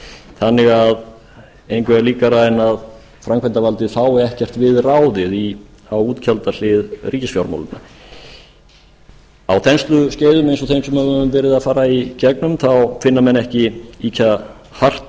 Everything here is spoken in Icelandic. þannig að engu er líkara en að framkvæmdavaldið fái ekkert við ráðið á útgjaldahlið ríkisfjármálanna á þensluskeiðum eins og þeim sem við höfum verið að fara í gegnum þá finna menn ekki ýkja hart